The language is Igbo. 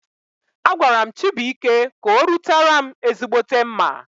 Agwaram Chibuike ka orutaram ezigbote mma